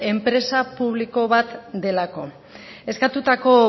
enpresa publikoa bat delako eskatutako